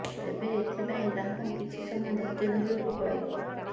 ତେବେ ଏଥିପାଇଁ ଗ୍ରାହକଙ୍କୁ କିଛି ସମୟ ଧୈର୍ଯ୍ୟ ଧରିବାକୁ ପଡ଼ିବ